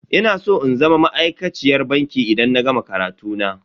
Ina san in zama ma'aikaciyar banki idan na gama karatu na.